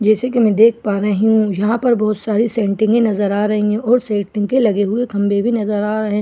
जैसे की मैं देख पा रही हूँ यहाँ पर बहुत सारी सेंटिनीगे नजर आ रही हैं सेंटिनीग लगे हुए खंबे भी नजर आ रहे हैं कुछ खंबे --